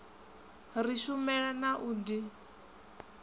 ri shumela na u d